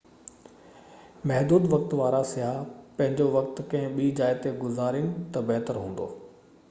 محدود وقت وارا سياح پنهنجو وقت ڪنهن ٻي جاءِ تي گذارين تہ بهتر هوندو